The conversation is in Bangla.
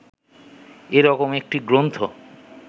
এ রকম একটি গ্রন্থ